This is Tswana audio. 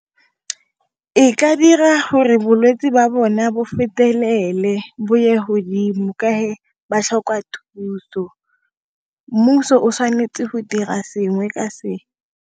E ka dira gore bolwetsi jwa bone bo fetelele bo ye hodimo ka he ba tlhoka thuso mmuso o tshwanetse go dira sengwe ka se.